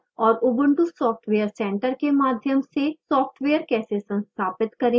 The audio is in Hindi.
synaptic package manager और ubuntu software center के माध्यम से सॉफ्टवेयर कैसे संस्थापित करें